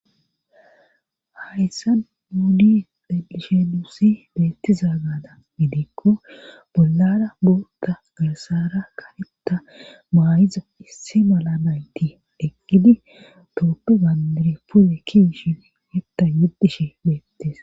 hayssa muudi xelishe duussi beettiza gada gidikko bollara bootta gasara karetta maayiza issi mala nayti eqgidi totu gandiri puwe ki shibiihetta yuddishe beettes